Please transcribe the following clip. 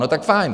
No, tak fajn.